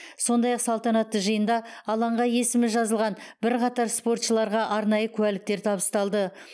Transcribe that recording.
сондай ақ салтанатты жиында алаңға есімі жазылған бірқатар спортшыларға арнайы куәліктер табысталды